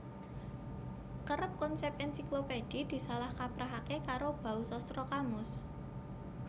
Kerep konsèp ènsiklopédhi disalah kaprahaké karo bausastra kamus